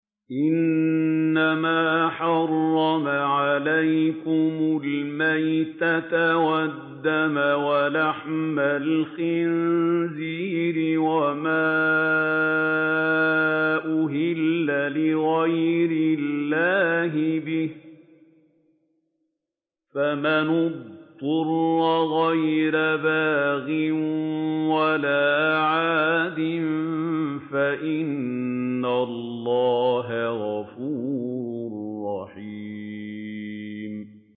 إِنَّمَا حَرَّمَ عَلَيْكُمُ الْمَيْتَةَ وَالدَّمَ وَلَحْمَ الْخِنزِيرِ وَمَا أُهِلَّ لِغَيْرِ اللَّهِ بِهِ ۖ فَمَنِ اضْطُرَّ غَيْرَ بَاغٍ وَلَا عَادٍ فَإِنَّ اللَّهَ غَفُورٌ رَّحِيمٌ